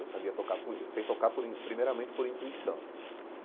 Eu sabia tocar por eu sei tocar por in primeiramente por intuição.